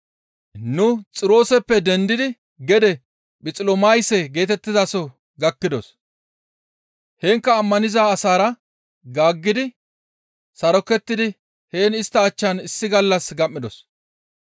Nu Xirooseppe dendidi gede Phixilamayse geetettizaso gakkidos; heenkka ammaniza asaara gaaggi sarokettidi heen istta achchan issi gallas gam7idos.